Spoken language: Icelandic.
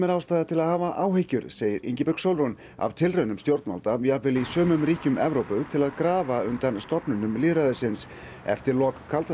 ástæða til að hafa áhyggjur segir Ingibjörg Sólrún af tilraunum stjórnvalda jafnvel í sumum ríkjum Evrópu til að grafa undan stofnunum lýðræðisins eftir lok kalda